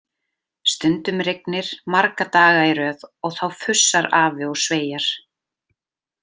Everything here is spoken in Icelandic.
Stundum rignir marga daga í röð og þá fussar afi og sveiar.